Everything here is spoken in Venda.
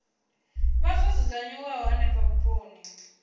vha zwo dzudzanyiwa henefho vhuponi